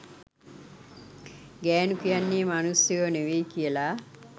ගෑනු කියන්නේ මනුස්සයෝ නෙවෙයි කියලා.